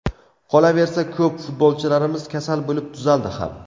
Qolaversa, ko‘p futbolchilarimiz kasal bo‘lib tuzaldi ham.